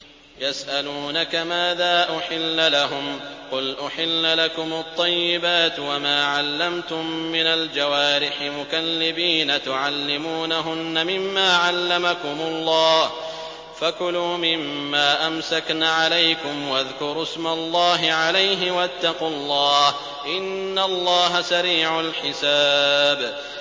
يَسْأَلُونَكَ مَاذَا أُحِلَّ لَهُمْ ۖ قُلْ أُحِلَّ لَكُمُ الطَّيِّبَاتُ ۙ وَمَا عَلَّمْتُم مِّنَ الْجَوَارِحِ مُكَلِّبِينَ تُعَلِّمُونَهُنَّ مِمَّا عَلَّمَكُمُ اللَّهُ ۖ فَكُلُوا مِمَّا أَمْسَكْنَ عَلَيْكُمْ وَاذْكُرُوا اسْمَ اللَّهِ عَلَيْهِ ۖ وَاتَّقُوا اللَّهَ ۚ إِنَّ اللَّهَ سَرِيعُ الْحِسَابِ